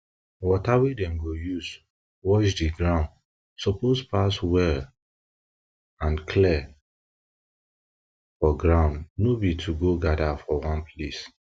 water wey dem go use wash the ground suppose pass well and clear for ground no be to go gather for one place